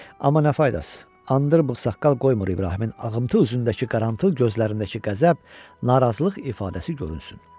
Amma nə faydası, andır bıxsaqqal qoymur İbrahimin ağımçı üzündəki qarantlı gözlərindəki qəzəb, narazılıq ifadəsi görünsün.